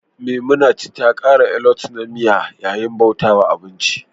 memunant kara alot na miya yayin bauta wa abinci